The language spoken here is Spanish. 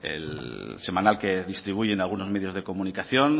el semanal que distribuyen algunos medios de comunicación